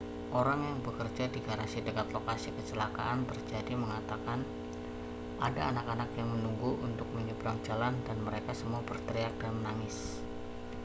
orang yang bekerja di garasi dekat lokasi kecelakaan terjadi mengatakan ada anak-anak yang menunggu untuk menyeberang jalan dan mereka semua berteriak dan menangis